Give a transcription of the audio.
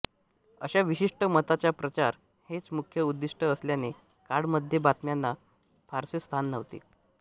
असा विशिष्ट मताचा प्रचार हेच मुख्य उदिष्ट असल्याने काळ मध्ये बातम्याना फारसे स्थान नव्हते